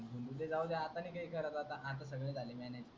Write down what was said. ते जाऊ दे आता नाही करत आता. आता सगळ झाल mannage